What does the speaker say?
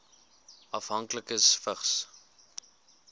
afhanklikes vigs